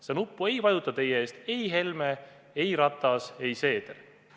Seda nuppu ei vajuta teie eest ei Helme, ei Ratas, ei Seeder.